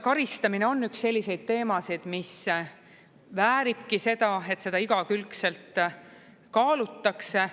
Karistamine on üks selliseid teemasid, mis vääribki seda, et seda igakülgselt kaalutakse.